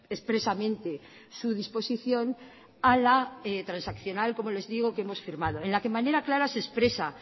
expresamente su disposición a la transaccional como les digo que hemos firmado en la que de manera clara se expresa